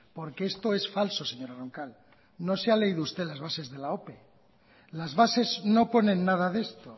porque esto es falso señora roncal no se ha leído usted las bases de la ope las bases no ponen nada de esto